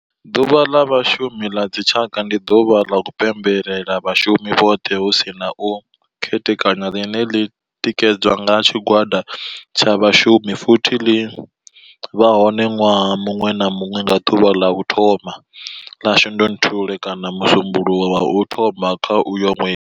Ḓuvha ḽa Vhashumi la dzi tshaka, ndi duvha ḽa u pembela vhashumi vhothe hu si na u khethekanya ḽine ḽi tikedzwa nga tshigwada tsha vhashumi futhi ḽi vha hone nwaha munwe na munwe nga duvha ḽa u thoma 1 ḽa Shundunthule kana musumbulowo wa u thoma kha uyo nwedzi.